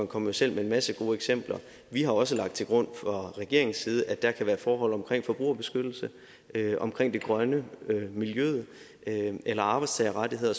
kom jo selv med en masse gode eksempler vi har også lagt til grund fra regeringens side at der kan være forhold omkring forbrugerbeskyttelse omkring det grønne miljøet eller arbejdstagerrettigheder